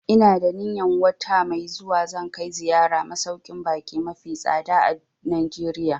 Ina da niyan wata mai zuwa zan kai ziyara masauƙin baƙi mafi tsada a Najeriya